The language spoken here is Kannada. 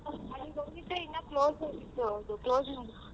ಅಲ್ಲಿಗೆ ಹೋಗಿದ್ದೆ ಇನ್ನ close ಆಗಿತ್ತು ಅದು close ಮಾಡುದ್ರು.